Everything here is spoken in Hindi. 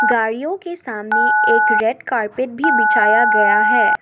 गाड़ियों के सामने एक रेड कारपेट भी बिछाया गया है।